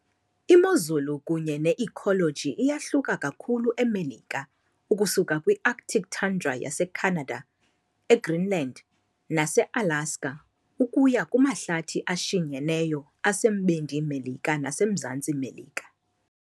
Imozulu kunye ne-ecology iyahluka kakhulu eMelika, ukusuka kwi-arctic tundra yaseCanada, eGreenland, naseAlaska, ukuya kumahlathi ashinyeneyo aseMbindi Melika naseMzantsi Melika.